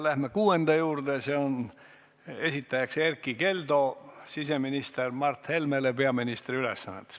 Läheme kuuenda küsimuse juurde, selle esitaja on Erkki Keldo siseminister Mart Helmele peaministri ülesannetes.